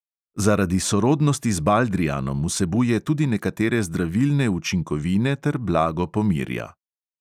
Zaradi sorodnosti z baldrijanom vsebuje tudi nekatere zdravilne učinkovine ter blago pomirja.